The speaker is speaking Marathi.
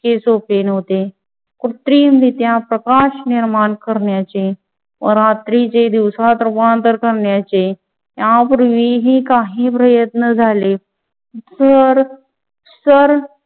तितके सोपे नव्हते. कृत्रिम रित्या प्रकाश निर्माण करण्याचे व रात्रीचे दिवसात रूपांतर करण्याचे यापूर्वीही काही प्रयत्न झाले. जर